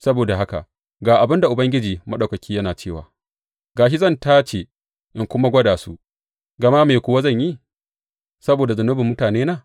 Saboda haka ga abin da Ubangiji Maɗaukaki yana cewa, Ga shi zan tace in kuma gwada su, gama me kuwa zan yi saboda zunubin mutanena?